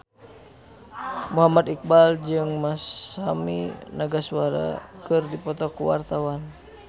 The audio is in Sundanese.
Muhammad Iqbal jeung Masami Nagasawa keur dipoto ku wartawan